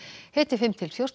hiti fimm til fjórtán